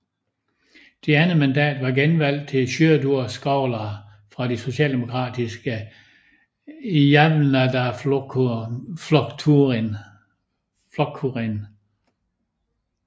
Det andet mandat var genvalg til Sjúrður Skaale fra det socialdemokratiske Javnaðarflokkurin